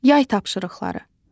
Yay tapşırıqları.